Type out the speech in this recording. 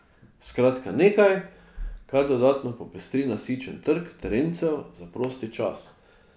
Skratka nekaj, kar dodatno popestri nasičen trg terencev za prosti čas.